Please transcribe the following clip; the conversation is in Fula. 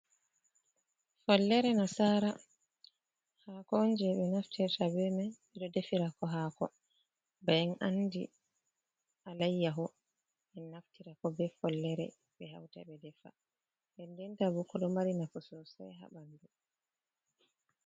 Follere nasara haako on je ɓe naftirta ɓe mai ɓeɗo defirako haako. Ba en andi alayyaho en naftirako be follere ɓe hauta ɓe defa nden den ta bo ɗo mari nafu sosai ha ɓandu.